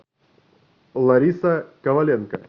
лариса коваленко